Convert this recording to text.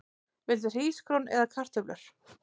Viltu hrísgrjón eða kartöflur?